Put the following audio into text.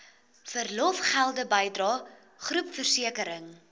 verlofgelde bydrae groepversekering